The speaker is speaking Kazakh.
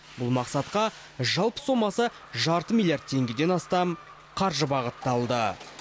бұл мақсатқа жалпы сомасы жарты миллиард теңгеден астам қаржы бағытталды